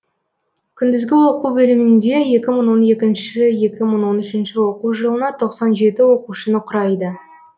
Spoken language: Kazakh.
күндізгі оқу бөлімінде екі мың он екінші екі мың он үшінші оқу жылына тоқсан жеті оқушыны құрайды